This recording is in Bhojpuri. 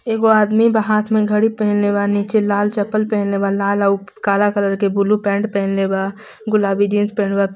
एगो आदमी बा हाथ में घड़ी पहिनले बा नीचे लाल चप्पल पहिनले बा लाल आऊ काल कलर के ब्लू पैंट पहिनले बा गुलाबी जींस पहिनले बा पी --